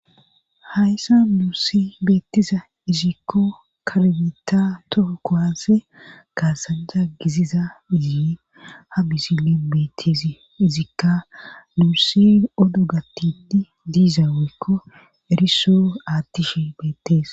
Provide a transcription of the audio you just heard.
hayssa muusi beeteza izikko kalabeta toho kohase kaasanja giziza yie ha mizile bete zikka nuusi odogatiti diiza wekko eriso aatishe beeteza